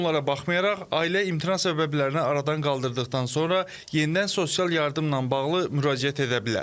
Bütün bunlara baxmayaraq, ailə imtina səbəblərini aradan qaldırdıqdan sonra yenidən sosial yardımla bağlı müraciət edə bilər.